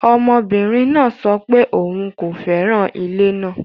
Ọmọbinrin naa sọ pe oun ko fẹran ile naa